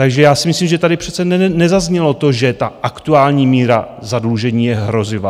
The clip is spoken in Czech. Takže já si myslím, že tady přece nezaznělo to, že ta aktuální míra zadlužení je hrozivá.